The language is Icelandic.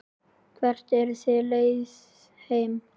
Hvert er þitt lið heima?